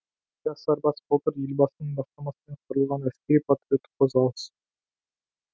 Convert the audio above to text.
жас сарбаз былтыр елбасының бастамасымен құрылған әскери патриоттық қозғалыс